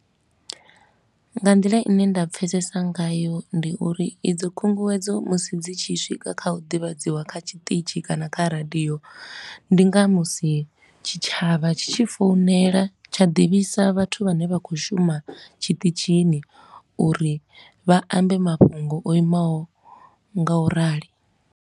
Nga nḓila i ne nda pfesesa ngayo ndi uri idzo khunguwedzo musi dzi tshi swika kha u ḓivhadziwa kha tshiṱitshi kana kha radio, ndi nga musi tshitshavha tshi tshi founela tsha ḓivhisa vhathu vhane vha khou shuma tshiṱitshini uri vha ambe mafhungo o imaho ngaurali.